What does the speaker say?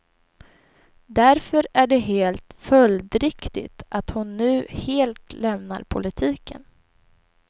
Därför är det helt följdriktigt att hon nu helt lämnar politiken.